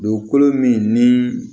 Dugukolo min ni